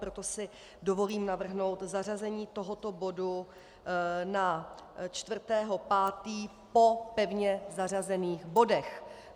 Proto si dovolím navrhnout zařazení tohoto bodu na 4. 5. po pevně zařazených bodech.